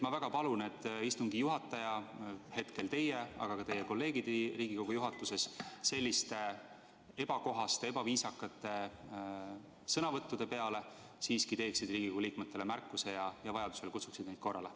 " Ma väga palun, et istungi juhataja, hetkel teie, aga ka teie kolleegid Riigikogu juhatuses, selliste ebakohaste, ebaviisakate sõnavõttude peale teeks Riigikogu liikmetele märkuse ja vajadusel kutsuks neid korrale.